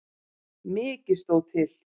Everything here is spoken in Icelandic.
Mikið stóð til.